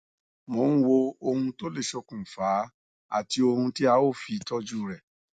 mò ń wo ohun tó lè ṣokùnfa á àti ohun tí a ó fi tọjú rẹ